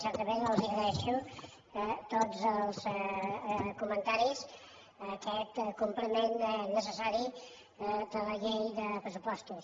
certament els agraeixo tots els comentaris en aquest compliment necessari de la llei de pressupostos